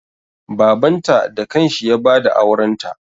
Babanta da kanshi ya ba da aurenta.